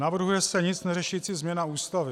Navrhuje se nic neřešící změna Ústavy.